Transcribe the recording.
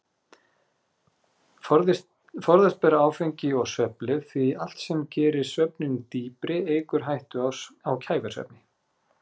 Forðast ber áfengi og svefnlyf því allt sem gerir svefninn dýpri eykur hættu á kæfisvefni.